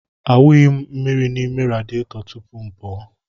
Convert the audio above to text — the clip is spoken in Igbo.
Awụnyeghị m mmiri n'ime radịeto tupu m pụọ.